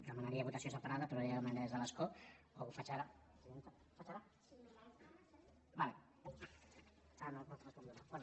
demanaria votació separa·da però ja ho demanaré des de l’escó o ho faig ara